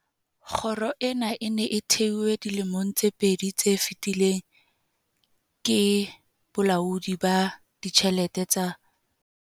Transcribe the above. Kgoro ena e ne e thehwe dilemong tse pedi tse fetileng ke Bolaodi ba Ditjhelete tsa